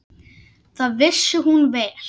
Það vissi hún vel.